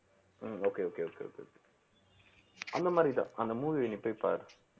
ஹம் okay okay okay okay அந்த மாதிரிதான் அந்த movie அ நீ போய் பாரு